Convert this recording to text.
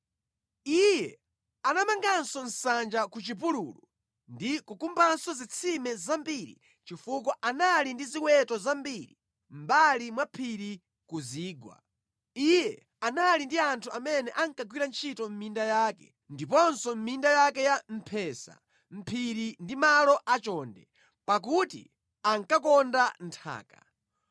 Iye anamanganso nsanja ku chipululu ndi kukumbanso zitsime zambiri chifukwa anali ndi ziweto zambiri mʼmbali mwa phiri ndi ku zigwa. Iye anali ndi anthu amene ankagwira ntchito mʼminda yake ndiponso mʼminda yake ya mphesa mʼphiri ndi malo achonde, pakuti ankakonda nthaka.